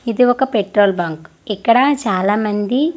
ఇది ఒక petrol bunk ఇక్కడ చాలా మంది.